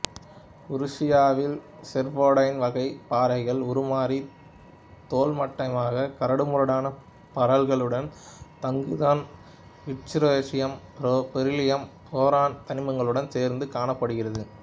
உருசியாவில் serpentine வகை பாறைகள் உருமாறி தோலமைட்டாக கரடுமுரடான பரல்களுடன் தங்குதன் இசுட்ரோன்சியம் பெரிலியம் போரான் தனிமங்களுடன் சேர்ந்து காணப்படுகிறது